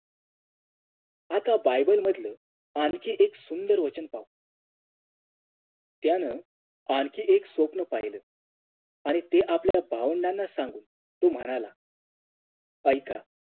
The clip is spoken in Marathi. आता Bible मधल आणखीन एक सुंदर वचन पाहू त्यानं आणखीन एक स्वप्न पाहिलं आणि ते आपल्या भावंडाना सांगून तो म्हणाला ऐका